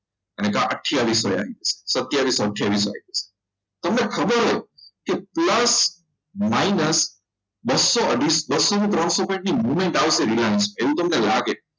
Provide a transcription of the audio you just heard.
ને આથીયાવિસો સતીયવિસો આથીયાવિસો તમને ખબર હોય કે plus minus બસો અઢીસો ત્રણસો movement આવશે તમને લાગે